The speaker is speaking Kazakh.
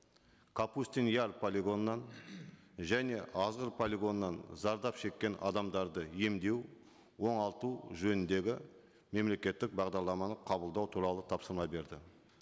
капустин яр полигонынан және азғыр полигонынан зардап шеккен адамдарды емдеу оңалту жөніндегі мемлекеттік бағдарламаны қабылдау туралы тапсырма берді